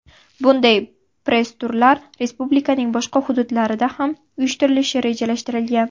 Bunday press-turlar respublikaning boshqa hududlariga ham uyushtirilishi rejalashtirilgan.